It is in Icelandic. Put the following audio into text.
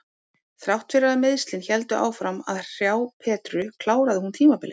Þrátt fyrir að meiðslin héldu áfram að hrjá Petru kláraði hún tímabilið.